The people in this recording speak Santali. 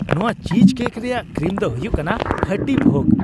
ᱱᱚᱣᱟ ᱪᱤᱡᱽᱠᱮᱠ ᱨᱮᱭᱟᱜ ᱠᱨᱤᱢ ᱫᱚ ᱦᱩᱭᱩᱜ ᱠᱟᱱᱟ ᱠᱷᱟᱹᱴᱤ ᱵᱷᱳᱜᱽ ᱾